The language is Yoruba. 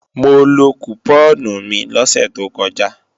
Mo lo kùpọ́ọ̀nù mi lọ́sẹ̀ tó kọjá